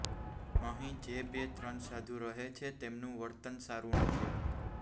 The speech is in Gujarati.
અહીં જે બે ત્રણ સાધુ રહે છે તેમનું વર્તન સારું નથી